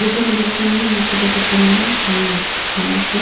जैसे की में देख पा रही हूँ यह सुबह का समय है सामने एक्सिस बैंक है।